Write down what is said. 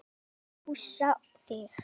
Hreinsa og pússa þig?